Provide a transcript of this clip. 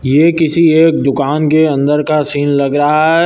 ये किसी एक दुकान के अंदर का सीन लग रहा है।